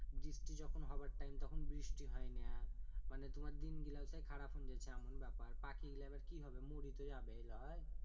বৃষ্টি যখন হবার time তখন বৃষ্টি হয়না মানে তুমার দিন গিলাও সেই খারাপ হুন যেছে এমন ব্যাপার পাখি গীলা এইবার কি হবে মরি তো যাবেই লয়